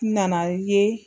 N nana i ye.